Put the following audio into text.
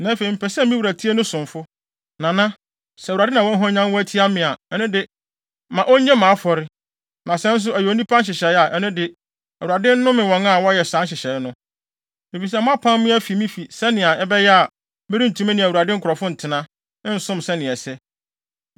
Na afei mepɛ sɛ me wura tie ne somfo, Nana. Sɛ Awurade na wahwanyan wo atia me a, ɛno de ma onnye mʼafɔre. Na sɛ nso ɛyɛ onipa nhyehyɛe a, ɛno de, Awurade nnome wɔn a wɔyɛɛ saa nhyehyɛe no. Efisɛ moapam me afi me fi sɛnea ɛbɛyɛ a, merentumi ne Awurade nkurɔfo ntena, nsom sɛnea ɛsɛ.